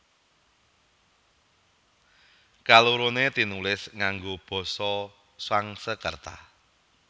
Kaloroné tinulis ngango Basa Sangskreta